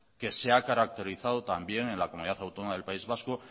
que se ha caracterizado también en la comunidad autónoma del país vasco